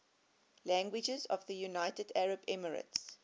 languages of the united arab emirates